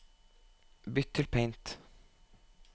bytt til Paint